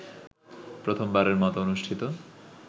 প্রথমবারের মতো অনুষ্ঠিত